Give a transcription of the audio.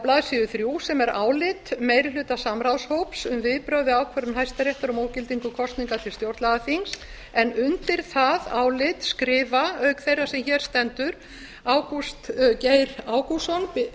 blaðsíðu þrjú sem er álit meirihlutasamráðshóps um viðbrögð við ákvörðun hæstaréttar um ógildingu kosninga til stjórnlagaþings en undir það álit skrifa auk þeirrar sem hér stendur ágúst geir ágústsson